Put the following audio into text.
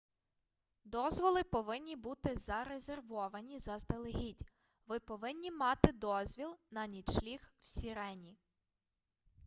дозволи повинні бути зарезервовані заздалегідь ви повинні мати дозвіл на нічліг в сірені